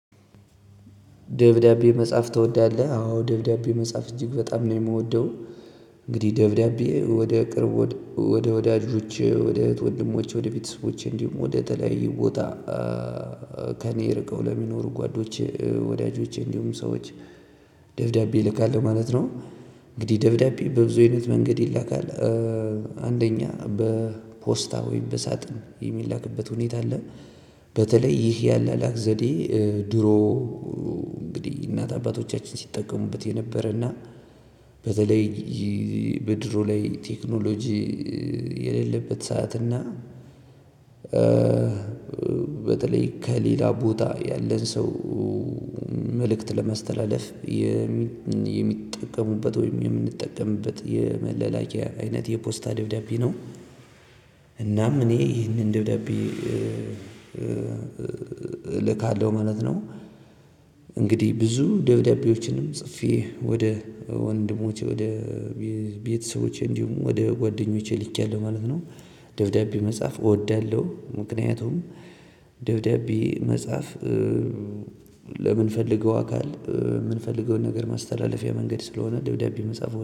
ደብዳቤ መጻፍ ትወዳለህ አዎ ደብዳቤ መጻፍ እጅግ በጣም ነው የምወደው። እንግዲህ ደብዳቤ ወደ ቅርብ ወደ ወዳጆች ወደ እህት ወንድሞች ወደ ቤተሰቦች እንዲሁም ወደ ተለያዩ ቦታ። ከእኔ ርቀው ለሚኖሩ ጓዶቼ ወዳጆቼ እንዲሁም ሰዎች ደብዳቤ እልካለው ማለት ነው። እንግዲህ ደብዳቤ በብዙ አይነት መንገድ ይላካል። አንደኛ በፖስታ ወይም በሳጥን የሚላክበት ሁኔታ አለ። በተለይ ይሄ የአላላክ ዘዴ ድሮ እንግዲህ እናት አባቶቻችን ሲጠቀሙበት የነበረና በተለይ በድሮ ላይ ቴክኖሎጂ። የሌለበት ሰዓት እና በተለይ ከሌላ ቦታ ያለን ሰው መልእክት ለማስተላለፍ የሚጠቀሙበት ወይም የምንጠቀምበት የመላላከያ አይነት የፖስታ ደብዳቤ ነው። እናም እኔ ይህንን ደብዳቤ እልካለሁ ማለት ነው። እንግዲህ ብዙ ደብዳቤዎችንም ጽፌ ወደ ወንድሞቼ ወደ ቤተሰቦቼ እንዲሁም ወደ ጓደኞቼ ልኬያለሁ ማለት ነው። ደብዳቤ መጻፍ እወዳለሁ። ምክንያቱም ደብዳቤ መጻፍ ለምንፈልገው አካል የምንፈልገውን ነገር ማስተላለፊያ መንገድ ስለሆነ ደብዳቤ መጻፍ